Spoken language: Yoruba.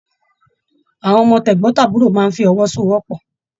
Àwọn ọmọ tegbọn-taburo máa n f'ọwósowọ́pọ́.